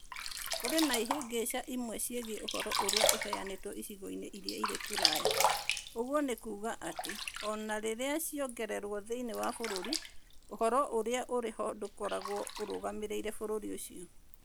Kũrĩ na ihĩngĩca imwe ciĩgiĩ ũhoro ũrĩa ũheanĩtwo icigo-inĩ iria irĩ kũraya, ũguo nĩ kuuga atĩ o na rĩrĩa ciongererũo thĩinĩ wa bũrũri, ũhoro ũrĩa ũrĩ ho ndũkoragwo ũrũgamĩrĩire bũrũri ũcio.